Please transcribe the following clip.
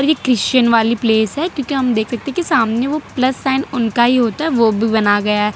Christian वाली place है क्योंकि हम देख सकते है की सामने वो प्लस साइन उनका ही होता है ओ भी बना गया--